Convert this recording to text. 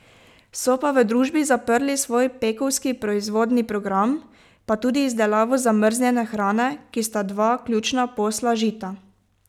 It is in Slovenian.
So pa v družbi zaprli svoj pekovski proizvodni program, pa tudi izdelavo zamrznjene hrane, ki sta dva ključna posla Žita.